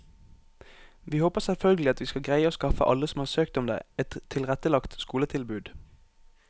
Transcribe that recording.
Vi håper selvfølgelig at vi skal greie å skaffe alle som har søkt om det, et tilrettelagt skoletilbud.